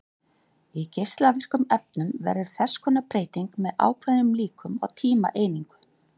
Í geislavirkum efnum verður þess konar breyting með ákveðnum líkum á tímaeiningu.